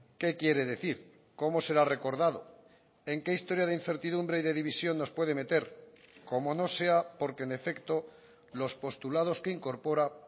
qué quiere decir cómo será recordado en qué historia de incertidumbre y de división nos puede meter como no sea porque en efecto los postulados que incorpora